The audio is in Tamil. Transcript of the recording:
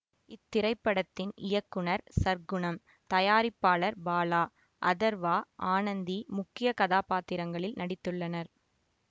இத்திரைப்படத்தின் இயக்குநர் சற்குணம் தயாரிப்பாளர் பாலா அதர்வா ஆனந்தி முக்கிய கதாபாத்திரங்களில் நடித்துள்ளனர்